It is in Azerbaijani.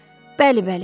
Bəli, bəli.